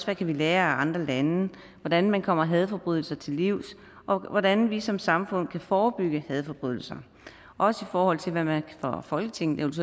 vi kan lære af andre lande hvordan man kommer hadforbrydelser til livs og hvordan vi som samfund kan forebygge hadforbrydelser også i forhold til hvad man fra folketingets